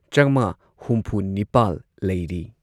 ꯆꯥꯃꯉꯥ ꯍꯨꯝꯐꯨꯅꯤꯄꯥꯜ ꯂꯩꯔꯤ꯫